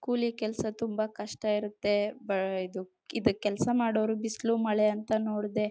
ಕೂಲಿ ಕೆಲಸ ತುಂಬಾ ಕಷ್ಟ ಇರುತ್ತೆ ಇದು ಕೆಲಸ ಮಾಡೋರಿಗೆ ಬಿಸಿಲು ಮಳೆ ಅಂತ ನೋಡದೆ.